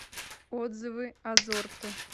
отзывы азорто